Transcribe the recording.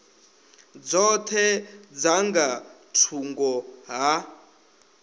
dzoṱhe dza nga thungo ha